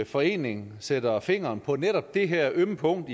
forening sætter fingeren på netop det her ømme punkt